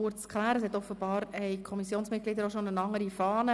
Offenbar haben die Kommissionsmitglieder eine andere Fahne erhalten.